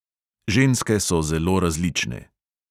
Ženske so zelo različne.